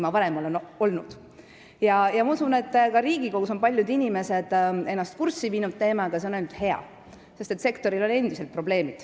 Ma usun, et ka Riigikogus on paljud inimesed ennast selle teemaga kurssi viinud, ja see on ainult hea, sest sektoril on endiselt probleeme.